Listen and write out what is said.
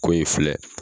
Ko in filɛ